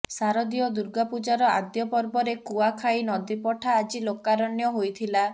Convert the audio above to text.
ଶାରଦୀୟ ଦୁର୍ଗା ପୂଜାର ଆଦ୍ୟ ପର୍ବରେ କୁଆଖାଇ ନଦୀପଠା ଆଜି ଲୋକାରଣ୍ୟ ହୋଇଥିଲା